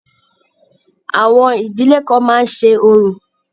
Àwọn ìdílé kan máa ń ṣe orò.